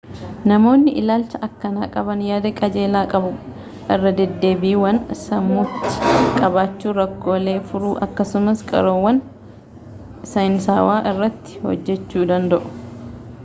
namoonni ilaalcha akkanaa qaban yaada qajeelaa qabu irradeddeebiiwwan sammuutti qabachuu rakkoolee furuu akkasumas qorannoowwan saayinsaawaa irratti hojjechuu danda'u